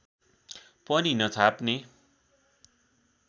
पनि नछाप्ने